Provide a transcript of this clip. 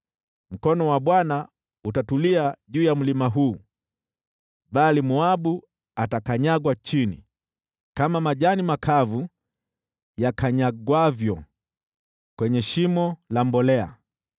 Mkono wa Bwana utatulia juu ya mlima huu, bali Moabu atakanyagwa chini kama majani makavu yakanyagwavyo kwenye shimo la mbolea.